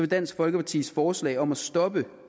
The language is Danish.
dansk folkepartis forslag om at stoppe